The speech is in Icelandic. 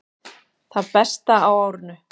Það besta á árinu